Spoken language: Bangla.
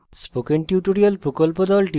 spoken tutorial প্রকল্প the